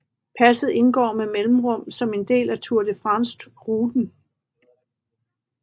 Passet indgår med mellemrum som en del af Tour de France ruten